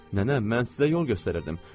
Nənə, mən sizə yol göstərirdim.